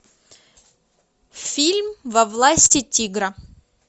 фильм во власти тигра